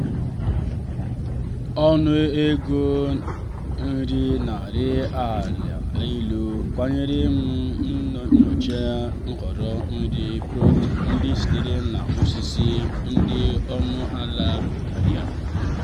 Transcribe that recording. anyị malitere ịhazi nri n'izu n'izu iji belata ihe mkpofu ma jikwaa mmefu ego nri anyị nke ọma karịa.